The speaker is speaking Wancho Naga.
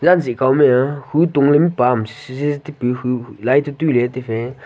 zanzi kaomia khu tungleya mihpa am chi chi tikle laito tuiley taifey.